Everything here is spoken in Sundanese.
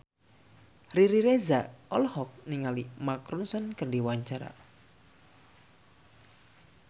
Riri Reza olohok ningali Mark Ronson keur diwawancara